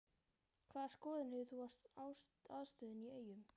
Hvaða skoðun hefur þú á aðstöðunni í Eyjum?